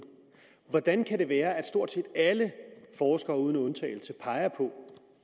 hvordan kan det være at stort set alle forskere uden undtagelse peger på